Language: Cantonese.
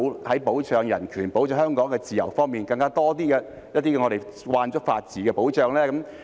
在保障人權、保障香港的自由方面可否有更多我們已習慣的法治保障呢？